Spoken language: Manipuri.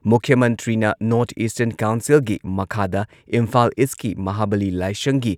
ꯃꯨꯈ꯭꯭ꯌ ꯃꯟꯇ꯭ꯔꯤꯅ ꯅꯣꯔꯊ ꯏꯁꯇꯔꯟ ꯀꯥꯎꯟꯁꯤꯜꯒꯤ ꯃꯈꯥꯗ ꯏꯝꯐꯥꯜ ꯏꯁꯀꯤ ꯃꯍꯥꯕꯥꯂꯤ ꯂꯥꯏꯁꯪꯒꯤ